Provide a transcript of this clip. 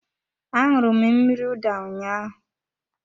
A aṅụru m mmiri ụda ụnyaahụ